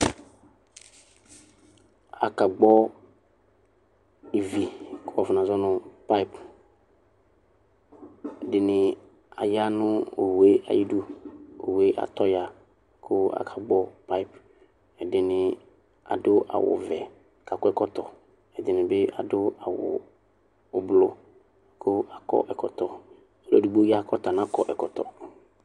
Akagbɔ ivi kʋ wakɔnazɔ nʋ payp ɛdini aya nʋ owʋe ayʋ idʋ owʋe atɔya kʋ akagbɔ payp ɛdini adʋ awʋvɛ kʋ akɔ ɛkɔtɔ ɛdini bi adʋ awʋ ʋblʋ kʋ akɔ ɛkɔtɔ ɔlʋ edigbo ya kʋ ɔta nakɔ ɛkɔtɔ